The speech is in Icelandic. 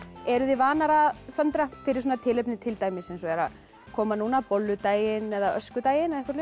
eruð þið vanar að föndra fyrir svona tilefni til dæmis eins og eru að koma núna bolludaginn öskudaginn eða eitthvað